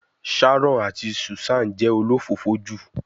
Sharon ati Susan se olofofo ju